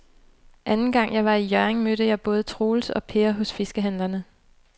Anden gang jeg var i Hjørring, mødte jeg både Troels og Per hos fiskehandlerne.